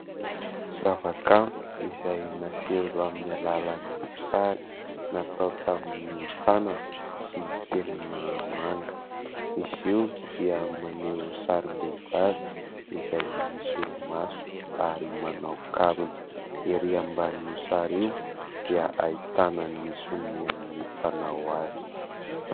Zava-kanto izay naseho amin'ny alalan'ny sary natao tamin'ny tanana sy penina manga, izy io dia maneho sarim-behivavy izay misolomaso ary manao kavina, erỳ ambanin'io sary io dia ahitana ny sonian'ny mpanao azy.